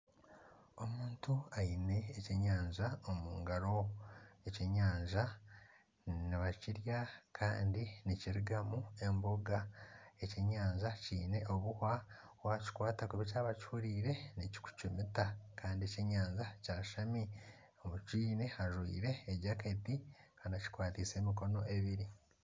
Omuntu aine ekyenyanja omungaro, ekyenyanja nibakirya Kandi nikirugamu emboga . Ekyenyanja kyiine obuhwa, wakikwata kubi kyaba kihurire nikikucumita Kandi ekyenyanja kyeshami okyiine ajwire jaketi Kandi akikwataise emikono ebiri.